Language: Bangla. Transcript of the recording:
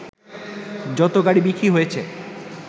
যত গাড়ি বিক্রি হয়েছে